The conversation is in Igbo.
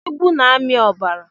Igwu na-ami ọbara.